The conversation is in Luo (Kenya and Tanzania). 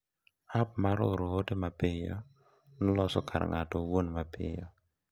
App mar oro ote mapiyo noloso kar ng’ato owuon mapiyo.